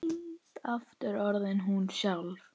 Aftur orðin hún sjálf.